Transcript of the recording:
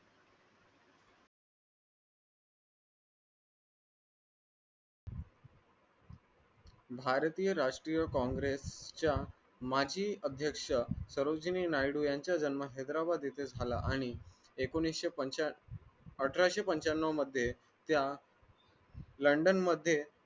भारतीय राष्ट्रीय congress च्या माजी अध्यक्ष यांच्या जन्म येथे झाला आणि एकोणीशे, अकराशे पणच्यानवं मध्ये त्या london मध्ये